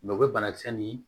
u bɛ banakisɛ nin